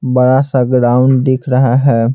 बड़ा सा ग्राउंड दिख रहा है।